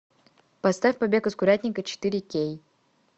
поставь побег из курятника четыре кей